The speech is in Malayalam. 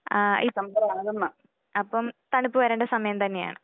ആഹ് ഈ അപ്പം തണുപ്പ് വരേണ്ട സമയം തന്നയാണ്.